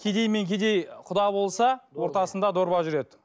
кедей мен кедей құда болса ортасында дорба жүреді